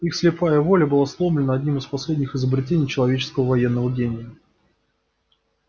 их слепая воля была сломлена одним из последних изобретений человеческого военного гения